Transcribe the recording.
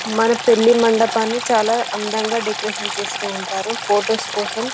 మన పెళ్లి మండపాన్ని చాలా అందంగా డెకరేషన్ చేస్తూ ఉంటారు ఫొటోస్ కోసం --